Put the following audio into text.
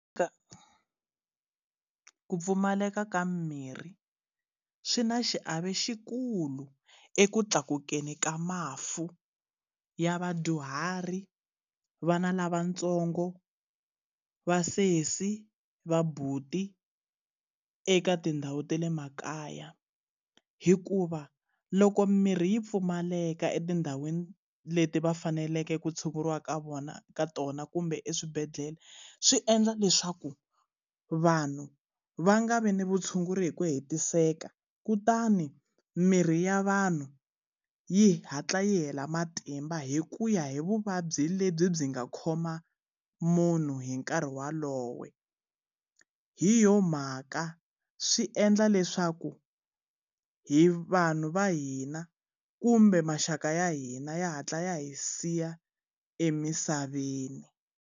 Ku pfumaleka ka mimirhi swi na xiave lexikulu eku tlakukeni ka mafu ya vadyuhari vana lavatsongo vasesi vabuti eka tindhawu ta le makaya hikuva loko mirhi yi pfumaleka etindhawini leti va faneleke ku tshunguriwa ka vona ka tona kumbe eswibedhlele swi endla leswaku vanhu va nga vi ni vutshunguri hi ku hetiseka kutani mirhi ya vanhu yi hatla yi hela matimba hi kuya hi vuvabyi lebyi byi nga khoma munhu hi nkarhi walowo hi yona mhaka swi endla leswaku hi vanhu va hina kumbe maxaka ya hina ya hatla ya hi siya emisaveni.